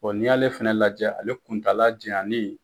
n'i y'ale fana lajɛ ale kuntaala janyanni.